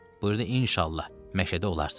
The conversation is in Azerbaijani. Buyurdu inşallah məşədi olarsız.